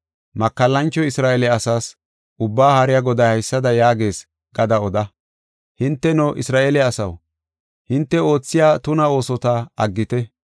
Makallancho Isra7eele asaas, Ubbaa Haariya Goday haysada yaagees gada oda. ‘Hinteno, Isra7eele asaw, hinte oothiya tuna oosota aggite.